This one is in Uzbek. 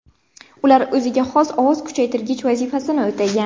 Ular o‘ziga xos ovoz kuchaytirgich vazifasini o‘tagan.